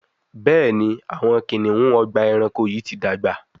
Béèni Awọn kiniun Ọgbà ẹranko yi ti dàgbà.